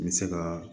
N bɛ se ka